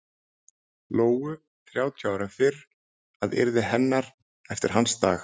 Lóu þrjátíu árum fyrr að yrði hennar eftir hans dag.